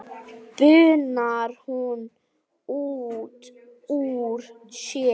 bunar hún út úr sér.